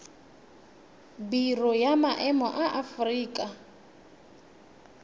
biro ya maemo ya aforika